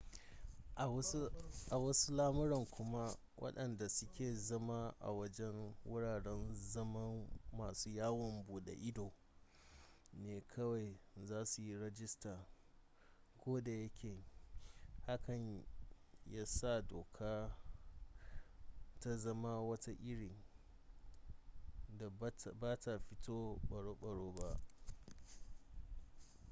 a wasu lamuran kuma wadanda suke zama a wajen wuraren zaman masu yawon bude ido ne kawai za su yi rajista ko da yake hakan ya sa dokar ta zama wata iri da bata fito baro-baro ba